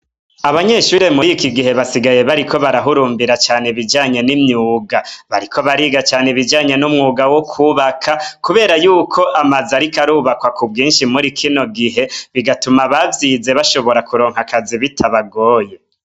Abanyeshure murikigihe basigaye bariko barahurumbira cane ibijanye nimyuga bariko bariga cane numwuga wo kubaka kubera yuko amazu ariko arubakwa kubwinshi muri kino gihe bigatuma abavyize bashobora kuronka akazi bitabagoye